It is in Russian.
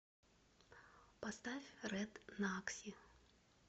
поставь рэд накси